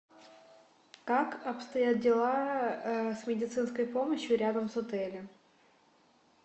как обстоят дела с медицинской помощью рядом с отелем